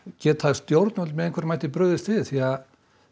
geta stjórnvöld með einhverjum hætti brugðist við því að